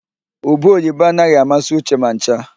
Ube oyibo anaghị amasị Uche ma ncha.